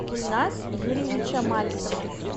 гульназ юрьевича мальцева